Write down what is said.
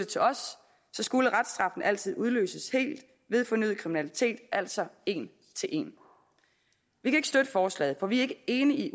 til os skulle reststraffen altid udløses helt ved fornyet kriminalitet altså en til en vi kan ikke støtte forslaget for vi er ikke enige i